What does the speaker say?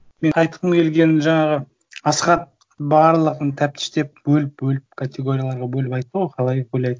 мен айтқым келгені жаңағы асқат барлығын тәптіштеп бөліп бөліп категорияларға бөліп айтты ғой қалай ойлайды